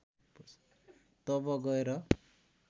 तब गएर